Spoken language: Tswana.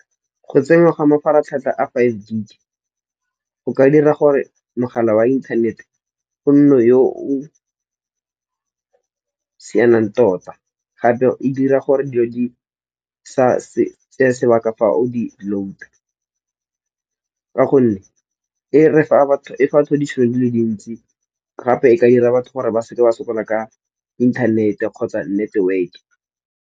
Go tsenywa ga mafaratlhatlha a five G, o ka dira gore mogala wa inthanete o nne yo o sianang tota. Gape e dira gore dilo di sa tseya sebaka fa o di load-a. Ka gonne e fa batho ditšhono dile dintsi gape e ka dira batho gore ba seke ba sokola ka inthanete kgotsa network-e.